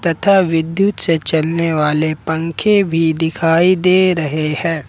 तथा विद्युत से चलने वाले पंखे भी दिखाई दे रहे हैं।